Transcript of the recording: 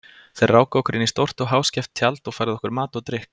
Þeir ráku okkur inn í stórt og háskeft tjald og færðu okkur mat og drykk.